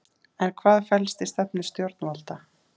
En hvað felst í stefnu stjórnvalda?